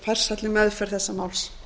farsælli meðferð þessa máls